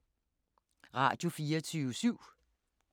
Radio24syv